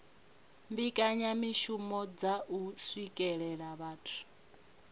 mbekanyamishumo dza u swikelela vhathu